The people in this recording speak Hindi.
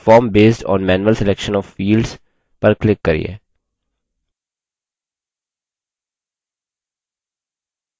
और विकल्प: subform based on manual selection of fields पर click करिये